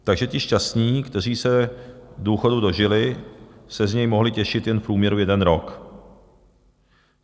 Takže ti šťastní, kteří se důchodu dožili, se z něj mohli těšit jen v průměru jeden rok.